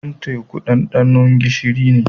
Ruwan teku dandano gishiri ne.